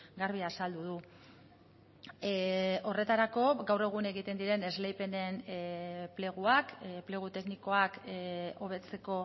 garbi azaldu du horretarako gaur egun egiten diren esleipenen pleguak plegu teknikoak hobetzeko